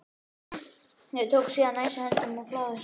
Þeir tóku síðan æsi höndum en fláðu oturinn.